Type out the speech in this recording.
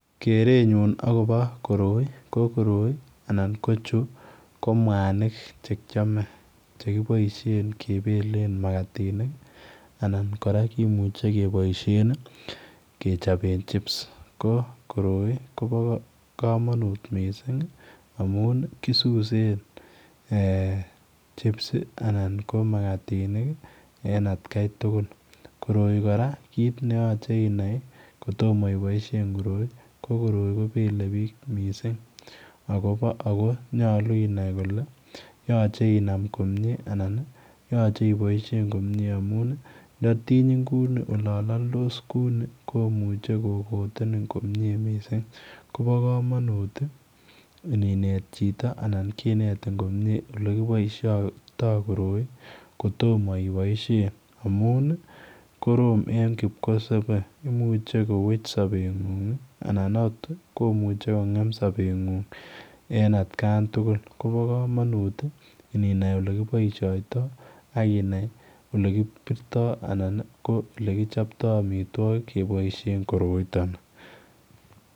Keretnyuun agobo koroi ko koroi anan ko chuu ko mwanig chekiyame che kibaisheen kebeleen makatinik anan kora kimuchei kebaisheen chips ko koroi kobaa kamanuut missing ii amuun ii kisuseen chips anan ko makatinik en at Kai tugul ana kora kit ne yachei inai kotomah iboisien koroi ko koroi ko bele biik missing ako nyaluu inai kole yachei inam komyei ii anan yachei iboisien komyei amuun ii nda tinyiiin kuuini olaan laldos kuu ni komuchei kokotenin komyei missing kobaa kamanuut ii ini neet chitoo anan kinetin komyei ole kibaishaitoi koroi kotomah I boisien amuun koroi ko korom en kipkosabe imuchei koweech sabenguung anan imuche kowech sabet nguung en at kaan tugul kobaa kamanuut ininai ole kibaishaitoi akinai elekibirtoibanan ko elekichaptai amitwagiik kebaisheen koroitaan ni.